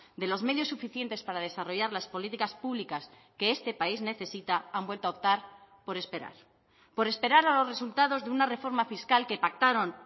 de los medios suficientes para desarrollar las políticas públicas que este país necesita han vuelto a optar por esperar por esperar a los resultados de una reforma fiscal que pactaron